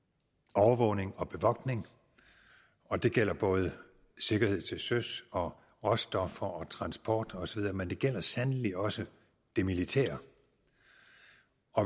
overvågning og bevogtning og det gælder både sikkerhed til søs og råstoffer og transport osv men det gælder sandelig også det militære